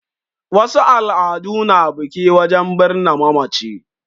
Wasu al'adu na biki wajen birni mamaci